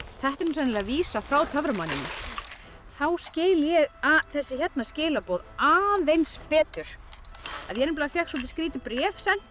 þetta er sennilega vísa frá töframanninum þá skil ég þessi hérna skilaboð aðeins betur ég fékk soldið skrítið bréf sent